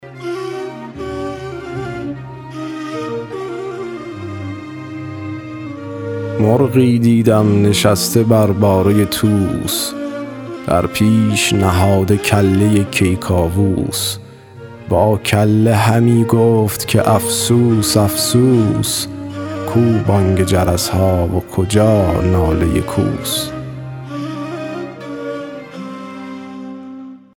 مرغی دیدم نشسته بر باره طوس در پیش نهاده کله کیکاووس با کله همی گفت که افسوس افسوس کو بانگ جرس ها و کجا ناله کوس